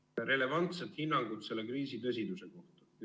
]... relevantset hinnangut selle kriisi tõsiduse kohta.